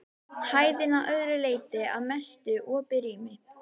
Hæðin að öðru leyti að mestu opið rými.